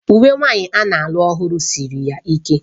Uwe nwanyị a na-alụ ọhụrụ siri ya ike